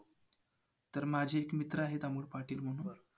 तर माझे ते मित्र आहेत अमोल पाटील म्हणून.